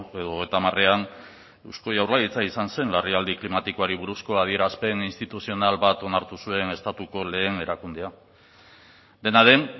edo hogeita hamarean eusko jaurlaritza izan zen larrialdi klimatikoari buruzko adierazpen instituzional bat onartu zuen estatuko lehen erakundea dena den